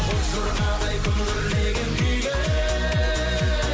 боз жорғадай күмбірлеген күйге